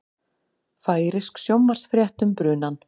Færeysk sjónvarpsfrétt um brunann